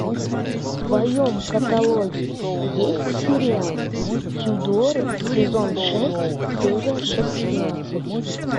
в твоем каталоге есть сериал тюдоры сезон шесть серия шестнадцать